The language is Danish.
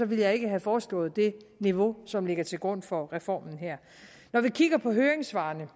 ville jeg ikke have foreslået det niveau som ligger til grund for reformen her når vi kigger på høringssvarene